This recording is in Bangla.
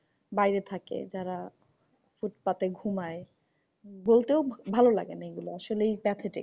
বাইরে থাকে। যারা ফুটফাতে ঘুমাই। বলতেও ভালো লাগেনা এগুলো আসলেই প্রাকৃতিক।